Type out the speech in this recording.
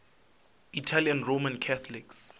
italian roman catholics